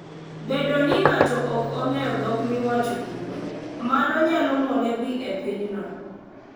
Bedo ni ng'ato ok ong'eyo dhok miwacho kuno, mano nyalo mone dhi e pinyno.